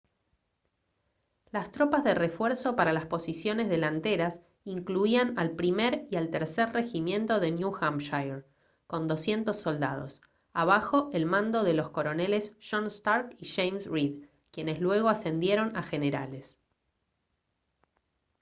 las tropas de refuerzo para las posiciones delanteras incluían al 1.er y al 3.er regimiento de new hampshire con 200 soldados abajo el mando de los coroneles john stark y james reed quienes luego ascendieron a generales